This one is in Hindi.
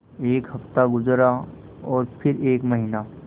एक हफ़्ता गुज़रा और फिर एक महीना